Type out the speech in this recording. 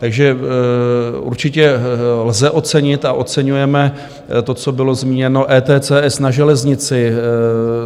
Takže určitě lze ocenit a oceňujeme to, co bylo zmíněno, ETCS na železnici.